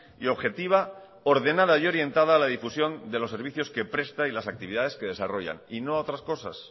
y objetiva ordenada y orientada a la difusión de los servicios que presta y las actividades que desarrollan y no a otras cosas